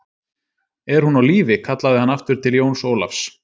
Er hún á lífi, kallaði hann aftur til Jóns Ólafs